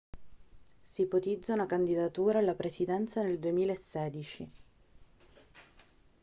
si ipotizza una candidatura alla presidenza nel 2016